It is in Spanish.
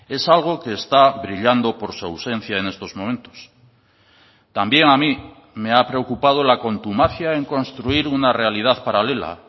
es algo que está brillando por su ausencia en estos momentos también a mí me ha preocupado la contumacia en construir una realidad paralela